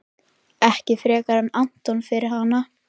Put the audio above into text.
Ekki frekar en Anton fyrir hana.